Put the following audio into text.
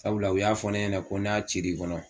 Sabula u y'a fɔ ne ɲɛna ko n'a cir'i kɔnɔ